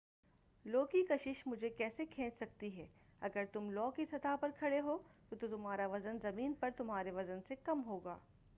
لو کی کشش مجھے کیسے کھینچ سکتی ہے اگر تم لو کی سطح پر کھڑے ہو تو تمہارا وزن زمین پر تمہارے وزن سے کم ہو گا